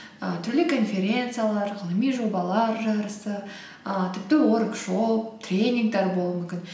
і түрлі конференциялар ғылыми жобалар жарысы ііі тіпті уоркшоп тренингтер болуы мүмкін